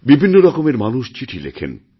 বিভিন্ন রকমের মানুষ চিঠি লেখেন